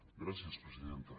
gràcies presidenta